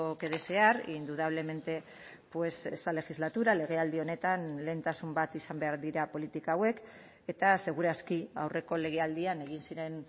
que desear indudablemente pues esta legislatura legealdi honetan lehentasun bat izan behar dira politika hauek eta segur aski aurreko legealdian egin ziren